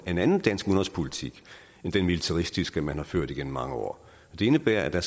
en anden dansk udenrigspolitik end den militaristiske udenrigspolitik man har ført igennem mange år det indebærer at der